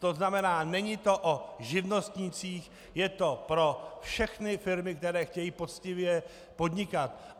To znamená, není to o živnostnících, je to pro všechny firmy, které chtějí poctivě podnikat.